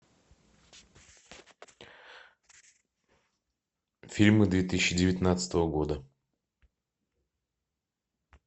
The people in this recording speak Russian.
фильмы две тысячи девятнадцатого года